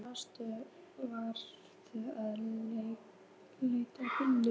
Hvar varstu vanur að leggja bílnum?